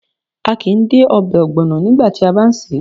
A kìí dé obè ògbònà nígbàti a bá n sèé